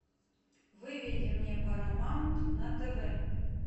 выведи мне парамаунт на тв